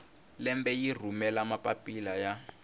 lembe yi rhumela mapapila ya